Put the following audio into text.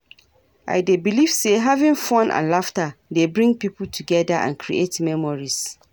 i dey believe say having fun and laughter dey bring people together and create memories.